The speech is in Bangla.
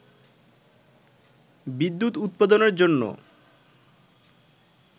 বিদ্যুৎ উৎপাদনের জন্য